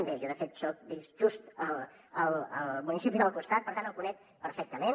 bé jo de fet visc just al municipi del costat per tant el conec perfectament